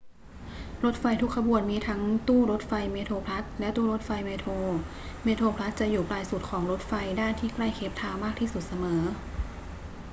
รถไฟทุกขบวนมีทั้งตู้รถไฟเมโทรพลัสและตู้รถไฟเมโทร เมโทรพลัสจะอยู่ปลายสุดของรถไฟด้านที่ใกล้เคปทาวน์มากที่สุดเสมอ